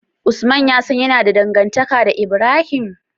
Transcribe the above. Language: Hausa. Usman yasan yAna da dangantaka da Ibrahim?